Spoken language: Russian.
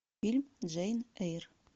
фильм джейн эйр